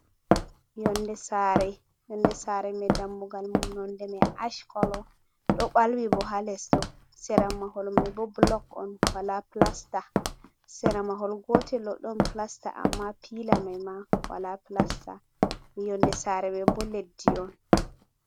Yonde sara yonde sare mai dammugal mum nonde mai ash kolo ɗo ɓalwi bo ha les ɗo sera mahol mai bo blog on wala plasta, sera mahol gotel ɗo ɗon plasta amma pila mai ma wala plasta yonde sare mai bo leddi on.